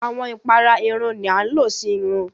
Awọn ìpàrà ẹ̀rùn ni àń ló sí ẹ̀rùn.